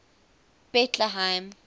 betlehem